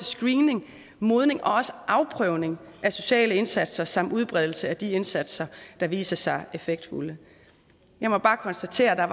screening modning og afprøvning af sociale indsatser samt udbredelse af de indsatser der viser sig effektfulde lad mig bare konstatere at der